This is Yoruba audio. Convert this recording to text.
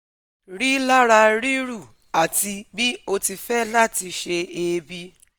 Rilara ríru ati bi o ti fẹ lati se eebi